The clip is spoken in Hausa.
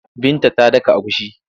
Binta ta daka agushi.